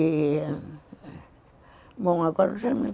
E... Bom, agora eu já me